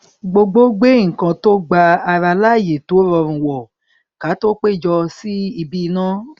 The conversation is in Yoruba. gbogbo gbé nnkan tó gba ara láàyè tó rọrùn wọ ká tó péjọ sí ibi iná